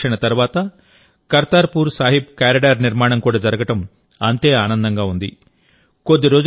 దశాబ్దాల నిరీక్షణ తర్వాత కర్తార్పూర్ సాహిబ్ కారిడార్ నిర్మాణం కూడా జరగడం అంతే ఆనందంగా ఉంది